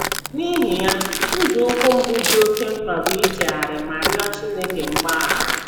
N’ihi ya, nzọụkwụ mbụ dị oké mkpa bụ ichegharị ma rịọ Chineke mgbaghara.